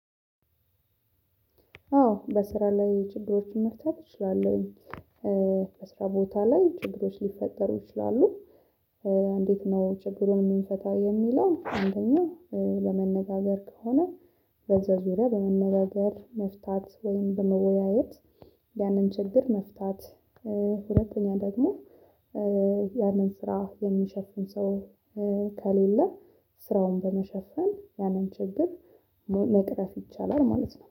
አዎ በስራ ላይ ችግሮችን መፍታት እችላለሁኝ። በስራ ቦታ ላይ ችግሮች ሊፈጠሩ ይችላሉ። እንዴት ነው ችግሩን የምንፈታው የሚለውን አንደኛው በመነጋገር ከሆነ በዛ ዙሪያ በመነጋገር መፍታት ወይም በመወያየት ያንን ችግር መፍታት ሁለተኛ ደግሞ ያንን ስራ የሚሸፍን ሰው ከሌለ ስራውን በመሸፈን ያንን ችግር መቅረፍ ይቻላል ማለት ነው።